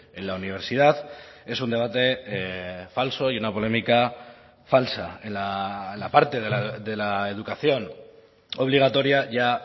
en la universidad es un debate falso y una polémica falsa en la parte de la educación obligatoria ya